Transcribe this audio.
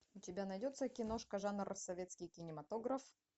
у тебя найдется киношка жанр советский кинематограф